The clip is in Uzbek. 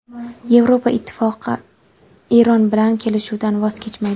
Yevropa Ittifoqi Eron bilan kelishuvdan voz kechmaydi.